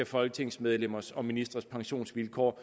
folketingsmedlemmers og ministres pensionsvilkår